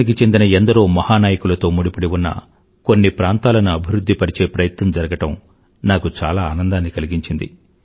భారతదేశానికి చెందిన ఎందరో మహా నాయకులతో ముడిపడి ఉన్న కొన్ని ప్రాంతాలను అభివృద్ధి పరచే ప్రయత్నం జరగడం నాకు చాలా ఆనందాన్ని కలిగించింది